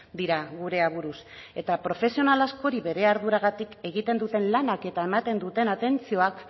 dira gure aburuz eta profesional askori bere arduragatik egiten duten lanak eta ematen duten atentzioak